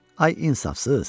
Ay insafsız!